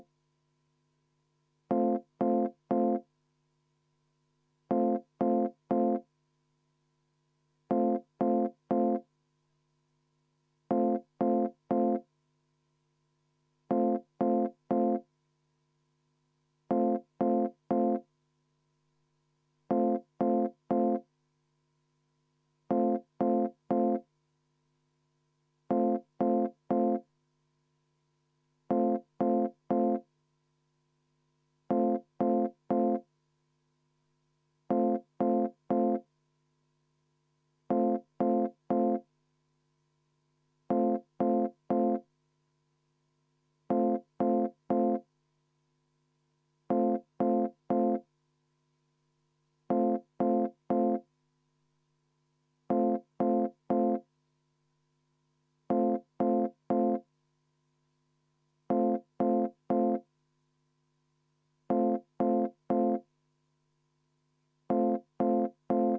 V a h e a e g